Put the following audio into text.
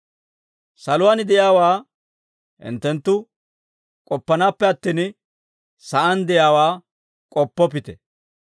Saluwaan de'iyaawaa hinttenttu k'oppanaappe attin, sa'aan de'iyaawaa k'oppoppite.